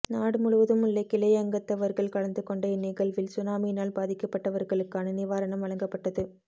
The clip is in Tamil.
நாடு முழுவதுமுள்ள கிளை அங்கத்தவர்கள் கலந்துகொண்ட இந்நிகழ்வில் சுனாமியினால் பாதிக்கப்பட்டவர்களுக்கான நிவாரணம் வழங்கப்பட்டது